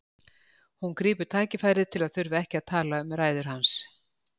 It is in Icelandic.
Hún grípur tækifærið til að þurfa ekki að tala um ræður hans.